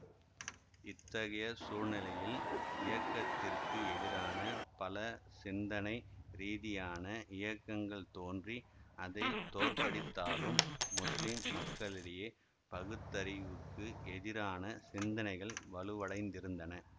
இத்தகைய சூழ்நிலையில் இயக்கத்திற்கு எதிரான பல சிந்தனை ரீதியான இயக்கங்கள் தோன்றி அதை தோற்கடித்தாலும் முஸ்லிம் மக்களிடையே பகுத்தறிவுக்கு எதிரான சிந்தனைகள் வலுவடைந்திருந்தன